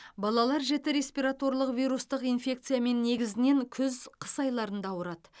балалар жіті респираторлық вирустық инфекциямен негізінен күз қыс айларында ауырады